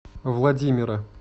владимира